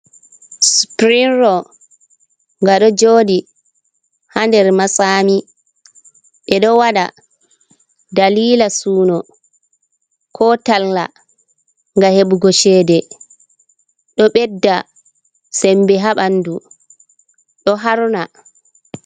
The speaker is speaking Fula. Spring row: Nga ɗo joɗi ha nder matsami. Ɓe ɗo waɗa dalila suno ko talla ngam heɓugo cede. Ɗo bedda sembe ha bandu, ɗo harna.